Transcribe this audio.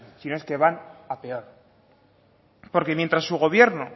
si no es que van a peor porque mientras su gobierno